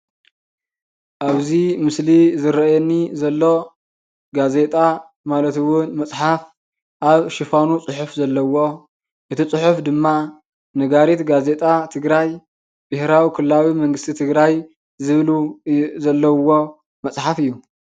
ኣብዚ ምስሊ ዝረአየኒ ዘሎ ጋዜጣ ማለት እውን መፅሓፍ ኣብ ሽፋኑ ፅሑፍ ዘለዎ እቲ ፅሑፍ ድማ ነጋሪት ጋዜጣ ትግራይ ብሄራዊ ክልላዊ መንግስቲ ትግራይ ዝብሉ ዘለውዎ መፅሓፍ እዩ፡፡